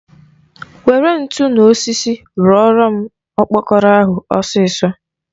Were ntu na osisi rụọrọ m okpokoro ahụ ọsịsọ!